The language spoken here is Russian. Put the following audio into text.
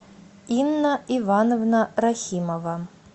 инна ивановна рахимова